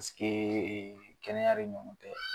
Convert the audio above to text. kɛnɛya de ɲɔgɔn tɛ.